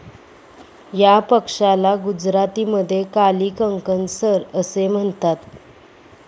या पक्ष्याला गुजरातीमध्ये काली कंकणसर असे म्हणतात.